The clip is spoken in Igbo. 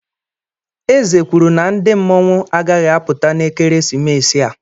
Eze kwuru na ndị mmọnwụ agaghị apụta n'ekeresimesi a.